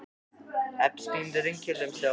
Hreinn, hvað er að frétta?